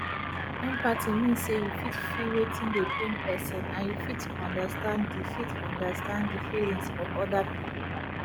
empathy mean say you fit feel wetin dey pain person and you fit understand di fit understand di feelings of oda pipo